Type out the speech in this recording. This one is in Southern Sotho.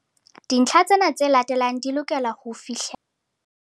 Dintlha tsena tse latelang di lokela ho fihlellwa.